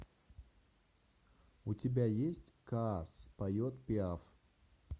у тебя есть каас поет пиаф